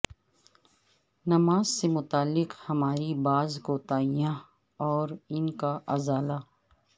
نماز سے متعلق ہماری بعض کوتاہیاں اور ان کا ازالہ